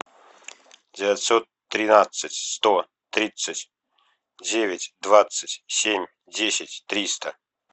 девятьсот тринадцать сто тридцать девять двадцать семь десять триста